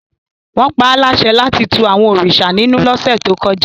Wọ́n pa á láṣẹ láti tu àwọn òrìṣà ninu lọ́sẹ̀ tó kọjá